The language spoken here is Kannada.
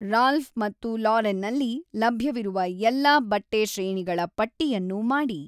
ರಾಲ್ಫ್ ಮತ್ತು ಲಾರೆನ್‌ನಲ್ಲಿ ಲಭ್ಯವಿರುವ ಎಲ್ಲಾ ಬಟ್ಟೆ ಶ್ರೇಣಿಗಳ ಪಟ್ಟಿಯನ್ನು ಮಾಡಿ